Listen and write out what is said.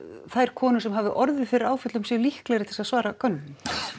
þær konur sem hafa orðið fyrir áföllum séu líklegri til að svara könnuninni